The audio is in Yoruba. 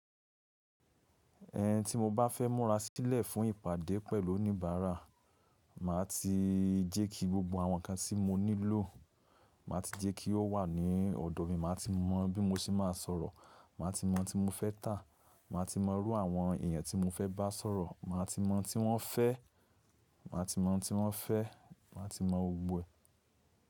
Ẹhn, tí mo bá fẹ́ múra sílẹ̀ fún ìpàdé pẹ̀lú oníbàárà, màá ti jẹ́ kí gbogbo àwọn nǹkan tí mo nílò, màá ti jẹ́ kí ó wà ní ọ̀dọ̀ mi, màá ti mọ bí mo ṣe máa sọ̀rọ̀, màá ti mọ ohun tí mo fẹ́ tà, màá ti mọ ìrú àwọn èèyàn tí mo fẹ́ bá sọ̀rọ̀, màá ti mọ̀ ohun tí wọ́n fẹ́, màá ti mọ̀ ohun tí wọ́n fẹ́, màá ti mọ gbogbo ẹ̀.